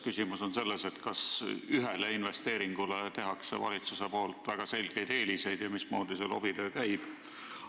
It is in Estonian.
Küsimus on selles, kas valitsus annab ühele investeeringule väga selgeid eeliseid ja mismoodi see lobitöö käib.